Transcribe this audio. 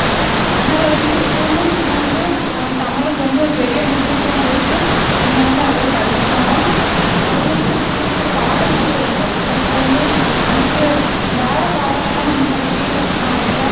ஆனாலும் வந்து எப்போவுமே நம்ம வந்து ஆஹ் தமிழுக்கு வந்து ஒரு பெரிய முக்கியத்துவம் கொடுத்து நம்ம வந்து அதை படிச்சோம்னா அது வந்து நமக்கு வந்து ஒரு பாடமாவே இருக்காது ஏன்னா இப்போ வந்து நமக்கு வேற பாடம் எல்லாம் நமக்கு படிக்கவும் கஷ்டமா இருக்கும்